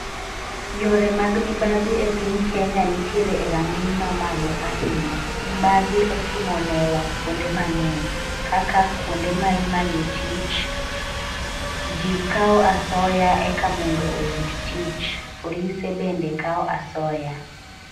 Yore mag mibadhi e piny Kenya nitiere e rang'iny ma malo ahinya. Mibadhi otimo newa kuonde mang'eny kaka kuonde ma imanye tich, ji kawo asoya eka mondo oyud tich, polise be kawo asoya.